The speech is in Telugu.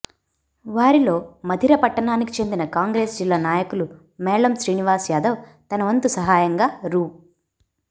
వారిలో మధిర పట్టణానికి చెందిన కాంగ్రెస్ జిల్లా నాయకులు మేళం శ్రీనివాస్ యాదవ్ తనవంతు సహాయంగా రూ